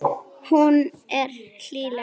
Hún er hlýleg.